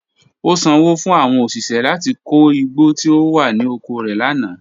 O sanwo fun awọn oṣiṣẹ lati ko igbo ti o wa ni oko rẹ lana.